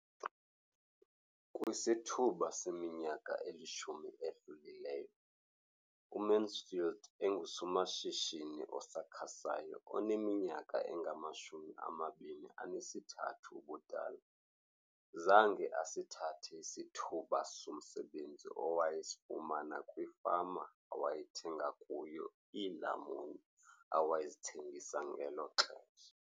Kwisithuba seminyaka elishumi edlulileyo, uMansfield engusomashishini osakhasayo oneminyaka engama-23 ubudala, zange asithathe isithuba somsebenzi awayesifumana kwifama awayethenga kuyo iilamuni awayezithengisa ngelo xesha.